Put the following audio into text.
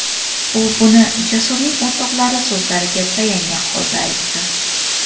U buni Jasurning o‘rtoqlari so‘zlariga tayangan holda aytdi.